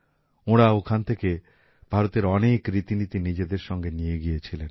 ওঁরা এখান থেকে ভারতের অনেক রীতিনীতি নিজেদের সঙ্গে নিয়ে গিয়েছিলেন